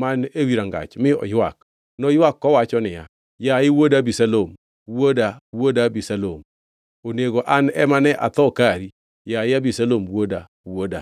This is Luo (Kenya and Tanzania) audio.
man ewi rangach mi oywak. Noywak kowacho niya, “Yaye wuoda Abisalom, wuoda, wuoda Abisalom! Onego an ema ne atho kari, yaye Abisalom wuoda, wuoda!”